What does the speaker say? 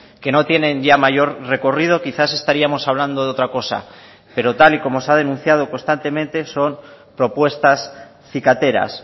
que no tienen ya mayor recorrido quizás estaríamos hablando de otra cosa pero tal y como se ha denunciado constantemente son propuestas cicateras